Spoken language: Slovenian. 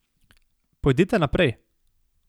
Pojdite naprej.